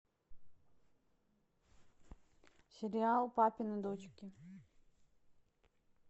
сериал папины дочки